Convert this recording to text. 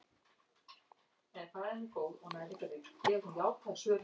Skýin eru mismunandi hátt frá yfirborði jarðar.